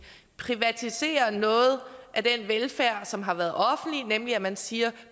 privatisere noget af den velfærd som har været offentlig nemlig hvor man siger